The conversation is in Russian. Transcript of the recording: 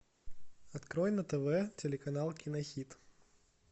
открой на тв телеканал кинохит